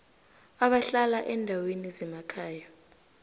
abahlala eendaweni zemakhaya